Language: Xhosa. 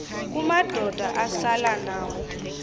kumadoda asela nawo